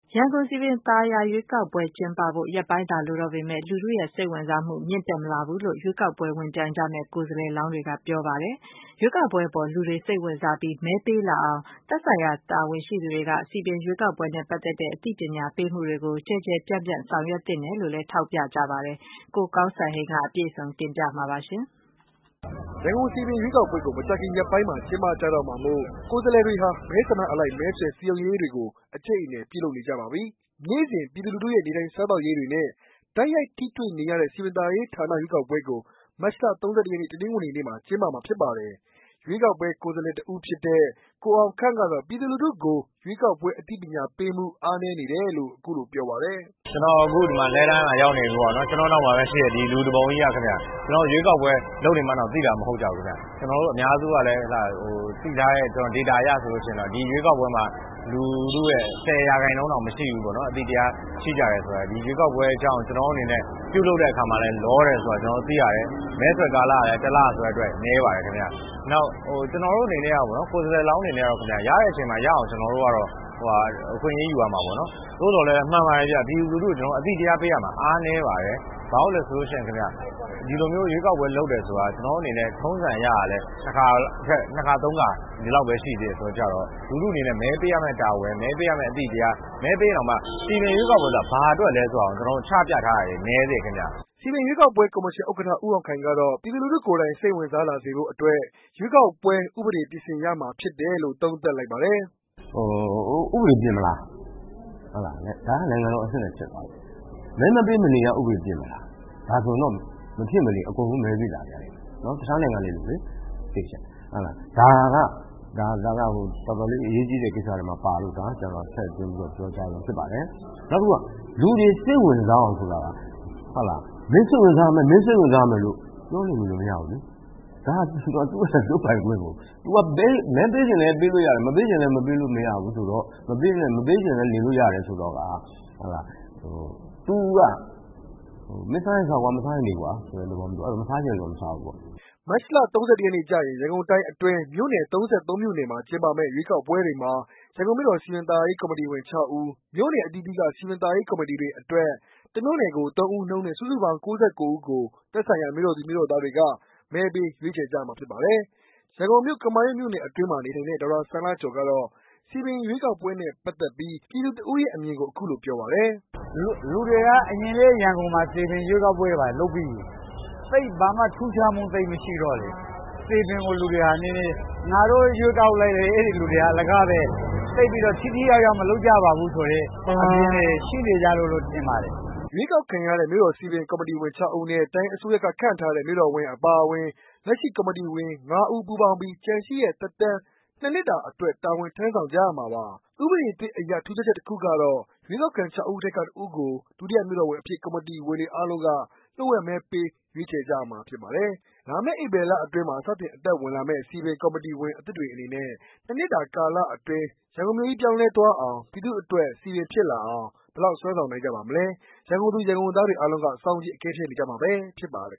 ရန်ကုန် စည်ပင်ရွေးကောက်ပွဲကျင်းပဖို့ ရက်ပိုင်းသာ လိုတော့ပေမယ့် လူထုစိတ်ဝင်စားမှုကတော့ မြင့်တက်မလာဘူးလို့ ရွေးကောက်ပွဲ ဝင်ပြိုင်ကြမယ့် ကိုယ်စားလှယ်လောင်းတွေက ပြောပါတယ်။ ရွေးကောက်ပွဲအပေါ် လူတွေ စိတ်ဝင်စားပြီး မဲပေးလာအောင် သက်ဆိုင်ရာ တာဝန်ရှိသူတွေက စည်ပင်ရွေးကောက်ပွဲနဲ့ ပတ်သက်တဲ့ အသိပညာပေးမှုတွေကို ကျယ်ကျယ်ပြန့်ပြန့် လုပ်ဆောင်သင့်တယ်လို့လည်း ထောက်ပြကြပါတယ်။ ကိုကောင်းစံဟိန်းက အပြည့်စုံ တင်ပြပေးပါမယ်။ ရန်ကုန်စည်ပင်ရွေးကောက်ပွဲကို မကြာခင်ရက်ပိုင်းမှာ ကျင်းပကြတော့မှာမို့ ကိုယ်စားလှယ်တွေဟာ မဲဆန္ဒနယ်အလိုက် မဲဆွယ်စည်းရုံးရေးတွေကို အကြိတ်အနယ် ပြုလုပ်နေကြပါပြီ။ နေ့စဉ်ပြည်သူလူထုရဲ့ နေထိုင်စားသောက်ရေးတွေနဲ့ တိုက်ရိုက်ထိတွေ့နေရတဲ့ စည်ပင်သာယာရေး ဌာန ရွေးကောက်ပွဲကို မတ်လ ၃၁ ရက် တနင်္ဂနွေနေ့မှာ ကျင်းပမှာဖြစ်ပါတယ်။ ရွေးကောက်ပွဲ ကိုယ်စားလှယ်တစ်ဦးဖြစ်တဲ့ ကိုအောင်ခန့်ကတော့ ပြည်သူလူထုကို ရွေးကောက်ပွဲ အသိပညာပေးမှု အားနည်းနေတယ်လို့ ပြောပါတယ်။ “ကျနော်အခု လှည်းတန်းမှာ ရောက်နေပြီပေါ့နော်၊ ကျနော့်နောက်မှာ ရှိတဲ့ လူတပုံကြီးက ကျနော်တို့ရွေးကောက်ပွဲရှိမှန်းတာင် မသိကြဖူးဗျ။ ကျနော်တို့ အများစုကလည်း သိထားတဲ့ Data အရဆို လုထုဟာ ၁၀ရာခိုင်နှုန်းတောင်မရှိကြဖူး ဒီရွေးကောက်ပွဲရှိတဲ့အကြောင်းကို။ မဲဆွယ်ကာလကလည်း တစ်လဆိုတဲ့အတွက် နည်းပါတယ်ခင်ဗျ။ ကျနော်တို့ ကိုယ်စားလှယ်လောင်းအနေနဲ့ ကတော့ ရတဲ့အချိန်မှာ ရအောင် အခွင့်အရေးယူ ရမှာပေါ့နော်။သို့သော်လည်း ပြည်သူလူထုကို အသိတရားပေးရမှာ အားနည်းပါတယ်။ ဘာလို့လည်းဆိုတော့ ထုံးစံအရကလည်း ၂ခါ ၃ခါ ဒီလောက်ဘဲ ရှိသေးတယ်ဆိုတော့ လူထုအနေနဲ့ မဲပေးရမယ့်တာဝန် မဲပေးရမယ့်အသိတရား ၊ မဲပေးရင်တောင်မှ စည်ပင်ရွေးကောက်ပွဲဆိုတာ ဘာအတွက်လဲဆိုတာချပြထားတာ ကျနော်တို့နည်းသေးတယ်ဗျ။” စည်ပင်ရွေးကောက်ပွဲကော်မရှင် ဥက္ကဌဦးအောင်ခိုင်ကတော့ ပြည်သူလူထုကိုယ်တိုင် စိတ်ဝင်စား လာစေဖို့ အတွက် ရွေးကောက်ပွဲ ဥပဒေပြင်ဆင်ရမှာဖြစ်တယ်လို့ သုံးသပ်ပါတယ်။ “ဥပဒေပြင်မလား ဒါကနိုင်ငံတော်အဆင့်နဲ့ ဖြစ်သါားပီ။မဲမပေး မနေရ ဥပဒေပြင်မလား။ဒါဆိုရင် မဖြစ်မနေအကုန်လုံး မဲပေးလာကြလိမ့်မယ်။ တခြားနိုင်ငံတွေလိုလေ။ဒါက တော်တော်လေး အရေးကြီးတဲ့ကိစ္စထဲမှာပါလို့ ကျနော်က ထည့်သွင်းပြောကြားခြင်း ဖြစ်ပါတယ်။ လူတွေစိတ်ဝင်စားအောင်ဆိုတာက ပြောနေလို့မရဘူးလေ။ဒါကသူ့ရဲ့ လုပ်ပိုင်ခွင့်ကို မဲပေးချင်လည်း ပေးလို့ရတယ်။မပေးချင်လည်း မပေးလို့ရတယ်ဆိုတော့ မင်းစားချင်စားကွာ ၊ မစားချင်လည်း နေကွာဆိုတော့ မစားချင်တဲ့လူက မစားဘူးပေါ့” မတ်လ ၃၁ ရက်နေ့ကျရင် ရန်ကုန်တိုင်းအတွင်း မြို့နယ် ၃၃ မြို့နယ်မှာ ကျင်းပမယ့် ရွေးကောက်ပွဲတွေမှာ ရန်ကုန်မြို့တော် စည်ပင်သာယာရေး ကော်မတီဝင် ၆ ဦး၊ မြို့နယ် အသီးသီးက စည်ပင်သာယာရေး ကော်မတီတွေ အတွက် တမြို့နယ်ကို ၃ ဦးနှုန်းနဲ့ စုစုပေါင်း ၉၉ ဦးကို သက်ဆိုင်ရာ ရန်ကုန်မြို့တော်သူ မြို့တော်သားတွေက မဲပေး ရွေးချယ်ကြရမှာဖြစ်ပါတယ်။ ရန်ကုန်မြို့ ကမာရွတ်မြို့နယ်အတွင်းမှာ နေထိုင်တဲ့ ဒေါက်တာစံလှကျော် စည်ပင်ရွေးကောက်ပွဲ နဲ့ပက်သက်ပီး ပြည်သူတစ်ဦးအနေနဲ့ ခုလိုပြောပါတယ်။ “လူတွေက အရင်ကလည်း ရန်ကုန်မှာ စည်ပင်ရွေးကောက်ပွဲတွေ လုပ်ပြီးပြီ။ ဘာမှ ထူးခြားမှုမရှိတော့လေ ၊ စည်ပင်ကို လူတွေက ငါတို့ရွေးကောက်လိုက်လည်း အဲလူတွေက အလကားပဲ သိပ်ပြီးတော့ ထိထိရောက်ရောက်မလုပ်ကြပါဘူးဆိုတဲ့ အမြင်တွေရှိနေကြလို့ ထင်ပါတယ်။” ရွေးကောက်ခံရတဲ့ မြို့တော်စည်ပင်ကော်မတီဝင် ၆ ဦးနဲ့ တိုင်းအစိုးရက ခန့်ထားတဲ့ မြို့တော်ဝန်အပါအဝင် လက်ရှိ ကော်မတီဝင် ၅ ဦးပူးပေါင်းပြီး ကျန်ရှိတဲ့ သက်တမ်း ၂ နှစ်တာအတွက် တာဝန်ထမ်းဆောင်ကြရမှာပါ။ ဥပဒေအသစ်အရ ထူးခြားချက်တခုက တော့ ရွေးကောက်ခံ ၆ ဦးထဲက တဦးကို ဒုတိယမြို့တော်ဝန်အဖြစ် ကော်မတီဝင်တွေအားလုံးက လျှို့ဝှက်မဲပေး ရွေးချယ်ကြရမှာ ဖြစ်ပါတယ်။ လာမယ့်ဧပြီလအတွင်းမှာ စတင်အသက်ဝင်လာမယ့် စည်ပင်ကော်မတီဝင် အသစ်တွေအနေနဲ့ နောက် ၂နှစ်တာကာလအတွင်း ရန်ကုန်မြို့ကြီး ပြောင်းလဲသွားအောင်၊ လူထုအတွက် စည်ပင် ဖြစ်လာအောင် ဘယ်လောက် စွမ်းဆောင်နိုင်ကြပါမလဲ… ရန်ကုန်သူရန်ကုန်သားတွေ အားလုံးက စောင့်ကြည့် အကဲဖြတ်နေကြမှာပဲ ဖြစ်ပါတယ်